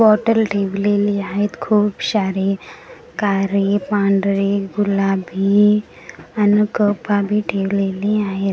Bottle ठेवलेली आहेत खूप सारी कारे पांढरे गुलाबी अन कपा बी ठेवलेले आहेत .